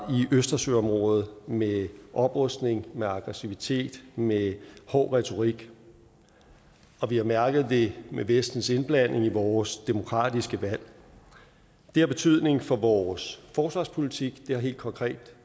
i østersøområdet med oprustning med aggressivitet med hård retorik og vi har mærket det med vestens indblanding i vores demokratiske valg det har betydning for vores forsvarspolitik det har helt konkret